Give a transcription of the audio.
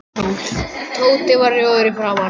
Tóti varð rjóður í framan.